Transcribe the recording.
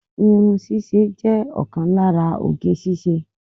Irun ṣíṣe jẹ́ ọ̀kan lára oge ṣíṣe